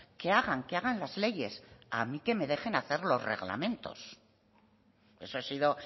que hagan que hagan las leyes a mí que me dejen hacer los reglamentos eso ha sido